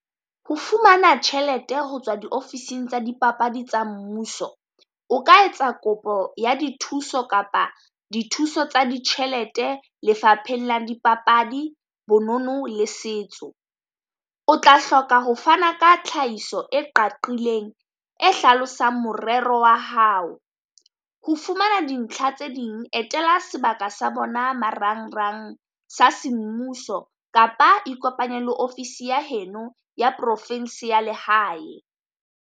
Ho fumana tjhelete ho tswa diofising tsa dipapadi tsa mmuso, o ka etsa kopo ya dithuso kapa dithuso tsa ditjhelete lefaphengng la dipapadi bonono le setso. O tla hloka ho fana ka tlhahiso e qaqileng e hlalosang morero wa hao. Ho fumana dintlha tse ding etela sebaka sa bona marangrang sa semmuso, kapa ikopanye le ofisi ya heno ya profinse ya lehae.